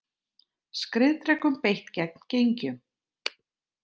Skriðdrekum beitt gegn gengjum